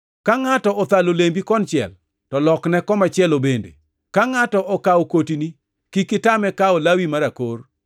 Ka ngʼato othalo lembi konchiel, to lokne komachielo bende. Ka ngʼato okawo kotini, kik itame kawo lawi mar akor.